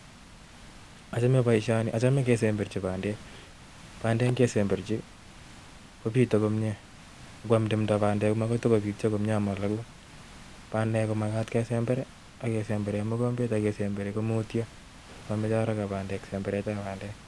Achome boishoni,,achome ingesemberchi bandek, bandek ingesemberchii kobiite komie. Ingoam timdo bandek komonguu tugul, bandek komagat kesember I,kisemberen mokombet ak kesemberii komutyoo, ak momoche haraka semberetab bandej